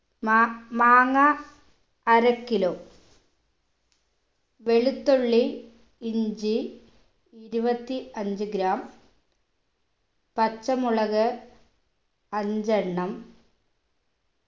മാ മാങ്ങ അര kilo വെളുത്തുള്ളി ഇഞ്ചി ഇരുപത്തി അഞ്ച് gram പച്ചമുളക് അഞ്ചെണ്ണം